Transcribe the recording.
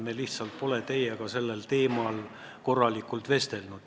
Me lihtsalt pole teiega sellel teemal põhjalikult vestelnud.